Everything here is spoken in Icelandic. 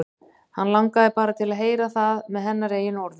Hann langaði bara til að heyra það með hennar eigin orðum.